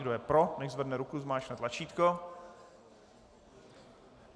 Kdo je pro, nechť zvedne ruku, zmáčkne tlačítko.